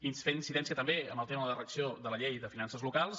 i fer incidència també en el tema de la redacció de la llei de finances locals